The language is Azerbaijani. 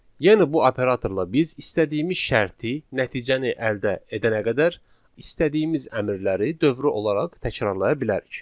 Yəni bu operatorla biz istədiyimiz şərti, nəticəni əldə edənə qədər, istədiyimiz əmrləri dövrü olaraq təkrarlaya bilərik.